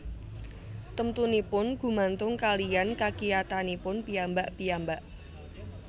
Temtunipun gumantung kaliyan kakiyatanipun piyambak piyambak